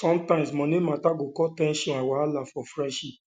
sometimes money matter go cause ten sion and wahala for friendship